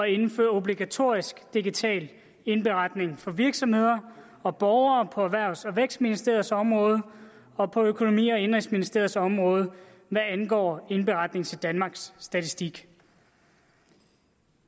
indføre obligatorisk digital indberetning for virksomheder og borgere på erhvervs og vækstministeriets område og på økonomi og indenrigsministeriets område hvad angår indberetning til danmarks statistik